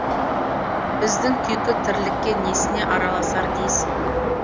біздің күйкі тірлікке несіне араласар дейсің